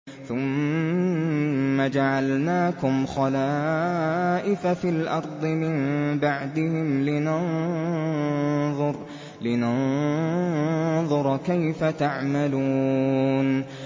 ثُمَّ جَعَلْنَاكُمْ خَلَائِفَ فِي الْأَرْضِ مِن بَعْدِهِمْ لِنَنظُرَ كَيْفَ تَعْمَلُونَ